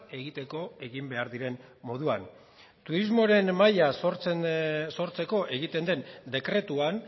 egiteko egin behar diren moduan turismoaren maila sortzeko egiten den dekretuan